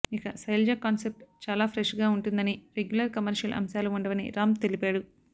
నేను శైలజ కాన్సెప్ట్ చాలా ఫ్రెష్ గా ఉంటుందని రెగ్యులర్ కమర్షియల్ అంశాలు ఉండవని రామ్ తెలిపాడు